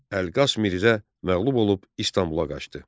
Əlqas Mirzə məğlub olub İstanbula qaçdı.